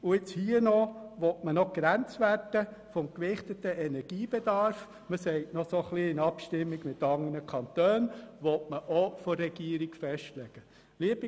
Und jetzt will man hier noch die Grenzwerte des gewichteten Energiebedarfs von der Regierung festlegen lassen.